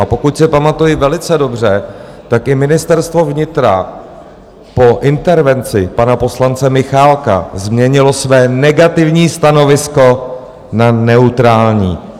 A pokud si pamatuji velice dobře, tak i Ministerstvo vnitra po intervenci pana poslance Michálka změnilo své negativní stanovisko na neutrální.